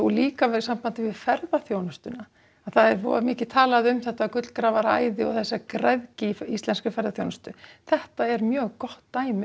líka í sambandi við ferðaþjónustuna það er rosa mikið talað um þetta gullgrafaraæði og þessa græðgi í íslenskri ferðaþjónustu þetta er mjög gott dæmi